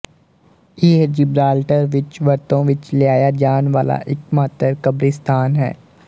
ਇਹ ਜਿਬਰਾਲਟਰ ਵਿੱਚ ਵਰਤੋਂ ਵਿੱਚ ਲਿਆਇਆ ਜਾਣ ਵਾਲਾ ਇੱਕਮਾਤਰ ਕਬਰਿਸਤਾਨ ਹੈ